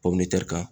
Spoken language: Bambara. kan